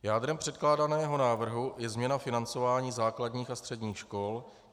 Jádrem předkládaného návrhu je změna financování základních a středních škol.